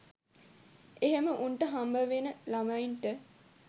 එහෙම උන්ට හම්බවෙන ළමයින්ට